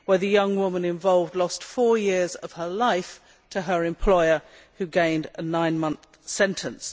The young woman involved lost four years of her life to her employer, who received a nine month sentence.